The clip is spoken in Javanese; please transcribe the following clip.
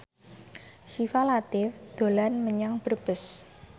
Syifa Latief dolan menyang Brebes